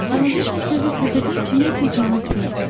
balaca şahzadə təzədən kiməyisə cavab verdi.